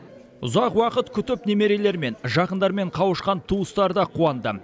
ұзақ уақыт күтіп немерелерімен жақындарымен қауышқан туыстары да қуанды